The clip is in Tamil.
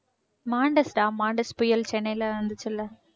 மாண்டெஸ்டா மாண்டெஸ் புயல் சென்னையில வந்துச்சுல்ல